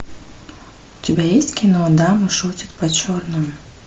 у тебя есть кино дамы шутят по черному